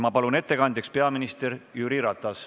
Ma palun ettekandjaks peaminister Jüri Ratase.